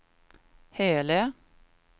Hölö